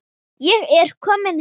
Ég er kominn heim.